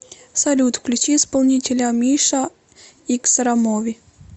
салют включи исполнителя миша иксрамови